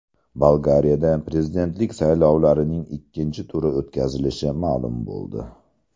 Bolgariyada prezidentlik saylovlarining ikkinchi turi o‘tkazilishi ma’lum bo‘ldi.